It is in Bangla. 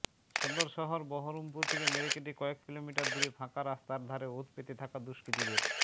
সদর শহর বহরমপুর থেকে মেরেকেটে কয়েক কিলোমিটার দূরে ফাঁকা রাস্তার ধারে ওঁত পেতে থাকা দুষ্কৃতীদের